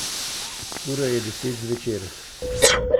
Ura je deset zvečer.